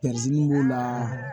b'o la